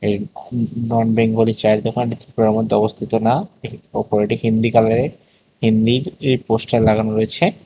নন বেঙ্গলি চায়ের দোকান মধ্যে অবস্থিত না ওপরে একটি হিন্দি কালারের হিন্দি পোস্টার লাগানো রয়েছে।